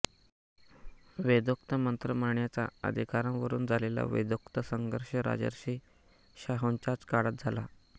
वेदोक्त मंत्र म्हणण्याच्या अधिकारावरून झालेला वेदोक्त संघर्ष राजर्षी शाहूंच्याच काळात झाला